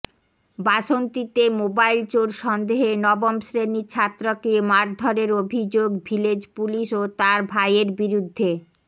বাসন্তীতে mobile চোর সন্দেহে নবম শ্রেণির ছাত্রকে মারধরের অভিযোগ ভিলেজ পুলিশ ও তাঁর ভাইয়ের বিরুদ্ধে